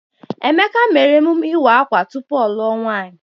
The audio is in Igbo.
Emeka mere emume ịwa akwa tupu ọ luo nwaanyi.